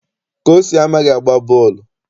Kosi amaghị agba bọọlụ ụkwụ.